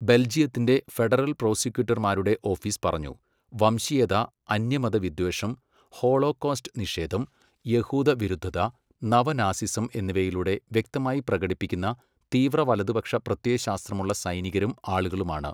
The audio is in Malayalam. ബെൽജിയത്തിന്റെ ഫെഡറൽ പ്രോസിക്യൂട്ടർമാരുടെ ഓഫീസ് പറഞ്ഞു, വംശീയത, അന്യമതവിദ്വേഷം, ഹോളോകോസ്റ്റ് നിഷേധം, യഹൂദ വിരുദ്ധത, നവ നാസിസം എന്നിവയിലൂടെ വ്യക്തമായി പ്രകടിപ്പിക്കുന്ന തീവ്ര വലതുപക്ഷ പ്രത്യയശാസ്ത്രമുള്ള സൈനികരും ആളുകളുമാണ്.